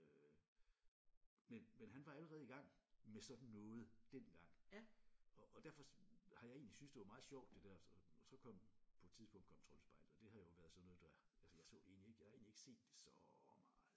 Øh men men han var allerede i gang med sådan noget dengang og og derfor har jeg egentlig syntes det var meget sjovt det der så kom på et tidspunkt kom Troldspejlet og det har jo været sådan noget der altså jeg så egentlig ikke jeg har egentlig ikke set det så meget